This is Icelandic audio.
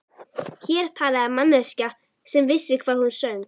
Hér talaði manneskja sem vissi hvað hún söng.